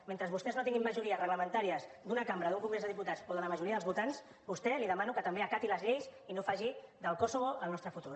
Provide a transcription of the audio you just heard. mentre vostès no tinguin majories reglamentàries d’una cambra d’un congrés de diputats o de la majoria dels votants a vostè li demano que també acati les lleis i no faci del kosovo el nostre futur